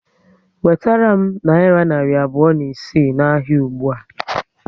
Wetere m nayira narị abụọ na isii na ahịa ụgbụa